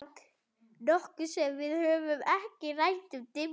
Nokkuð sem við höfum ekki.